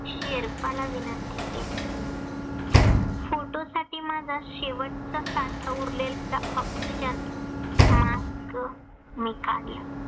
शेर्पाला विनंती केली. photo साठी माझा शेवटचा साठा उरलेला OXYGENmask मी काढला.